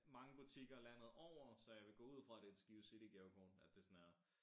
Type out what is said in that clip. Mange butikker landet over så jeg vil gå ud fra det et Skive City gavekort at det sådan er